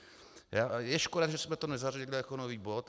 Je škoda, že jsme to nezařadili jako nový bod.